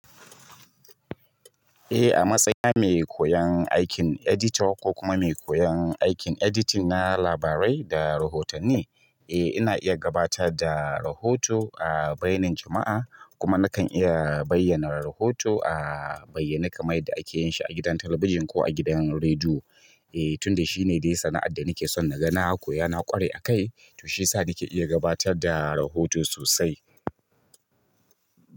Eh a matsayina mai koyan aikin edita ko kuma mai koyan aikin editing na labarai da rahotanni. Eh ina iya gabatar da rahoto a bainar jama'a kuma nakan iya bayyana rahoto a bayyane kamar yadda ake yin shi a gidan talabijin ko a gidan rediyo. Eh tunda shine dai sana'ar da nake son na ga na ko ya na ƙware a kai, to shi ya sa nake iya gabatar da rahoto sosai.